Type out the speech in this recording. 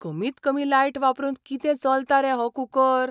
कमीत कमी लायट वापरून कितें चलता रे हो कूकर!